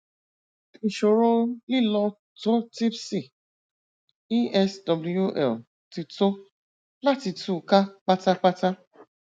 ìṣòro lílọtòtípsì eswl ti tó láti tú u ká pátápátá